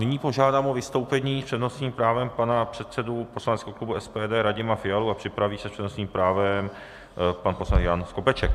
Nyní požádám o vystoupení s přednostním právem pana předsedu poslaneckého klubu SPD Radima Fialu a připraví se s přednostním právem pan poslanec Jan Skopeček.